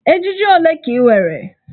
Ejiji ole ka ị nwere?